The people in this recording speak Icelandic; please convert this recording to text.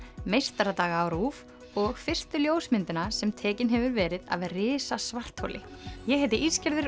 Meistaradaga á RÚV og fyrstu ljósmyndina sem tekin hefur verið af risasvartholi ég heiti